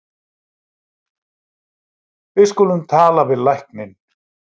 Við skulum tala við lækninn.